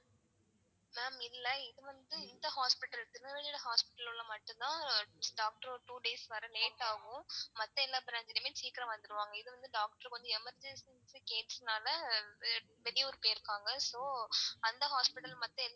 ma'am இல்ல இது வந்து இந்த hospital திருநெல்வேலி hospital ல மட்டும் தான் doctor two days வர late ஆகும். மத்த எல்லா branch லையுமே சீக்கிரம் வந்துருவாங்க இது வந்து doctor வந்து emergency case னால வெளியூர் போயிருக்காங்க அந்த hospital மத்த.